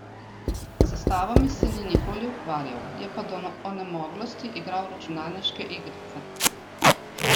S stavami se ni nikoli ukvarjal, je pa do onemoglosti igral računalniške igrice.